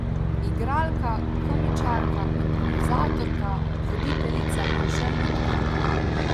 Igralka, komičarka, improvizatorka, voditeljica in še lutkarka.